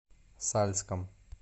сальском